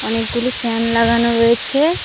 অনেকগুলি ফ্যান লাগানো রয়েছে।